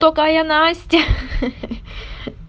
такая настя